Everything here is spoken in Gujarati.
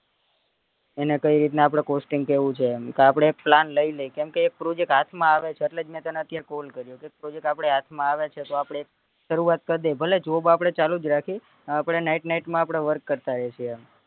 એને કઈ રીતના costing કેવું છે એમ આપડે plan લઇ લઈએ કેમ કે એક project હાથ માં આવે છે એટલેજ મેં તને call કર્યો છે project આપડા હાથ માં આવે છે તો આપડે શરૂવાત કરી દઈએ ભલે job આપડે ચાલુજ રાખીએ આપડે night night માં work કરતા રયશું એમ